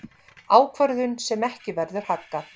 Ákvörðun sem ekki verður haggað.